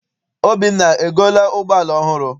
Obinna egoola ụgbọala ọhụrụ?